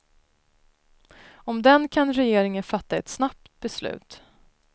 Om den kan regeringen fatta ett snabbt beslut.